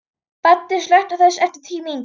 Baddi, slökktu á þessu eftir tíu mínútur.